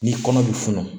Ni kɔnɔ bɛ funu